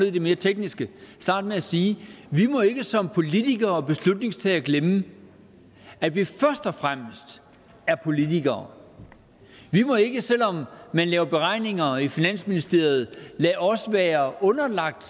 i det mere tekniske starte med at sige vi må ikke som politikere og beslutningstagere glemme at vi først og fremmest er politikere vi må ikke selv om man laver beregninger i finansministeriet lade os være underlagt